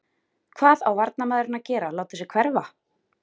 Hvað á varnarmaðurinn að gera láta sig hverfa?